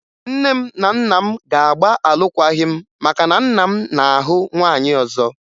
Nne m na nna m ga-agba alụkwaghị m maka na nna m na-ahụ nwaanyị ọzọ